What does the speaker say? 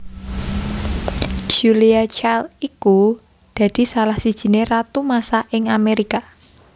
Julia Child iku dadi salah sijiné ratu masak ing Amerika